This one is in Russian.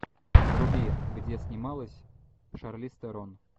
вруби где снималась шарлиз терон